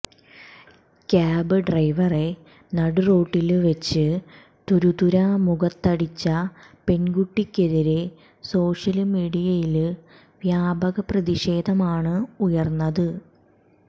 cab ഡ്രൈവറെ നടുറോഡില് വെച്ച് തുരുതുരാ മുഖത്തടിച്ച പെണ്കുട്ടിക്കെതിരെ സോഷ്യല് മീഡിയയില് വ്യാപക പ്രതിഷേധമാണ് ഉയര്ന്നത്